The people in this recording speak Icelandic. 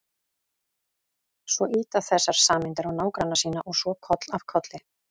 Svo ýta þessar sameindir á nágranna sína og svo koll af kolli.